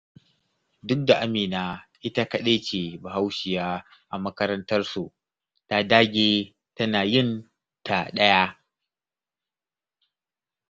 Duk da Amina ita kaɗai ce Bahaushiya a makarantarsu, ta dage tana yin ta ɗaya.